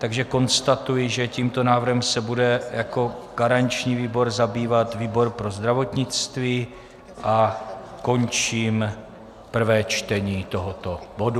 Takže konstatuji, že tímto návrhem se bude jako garanční výbor zabývat výbor pro zdravotnictví a končím prvé čtení tohoto bodu.